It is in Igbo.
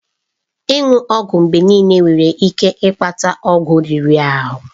Ịṅụ ọgwụ mgbe niile nwere ike ịkpata ọgwụ riri ahụ.